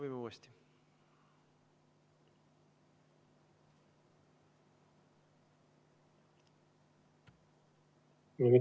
Ei ole häält, nüüd ei ole pilti ka.